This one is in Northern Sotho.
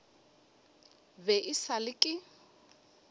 be e sa le ke